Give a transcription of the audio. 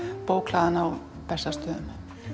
bókhlaðan á Bessastöðum